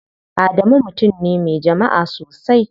Adamu mutum ne me jama'a sosai.